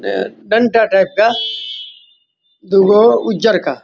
अ डंटा टाइप का दूगो ऊजर का --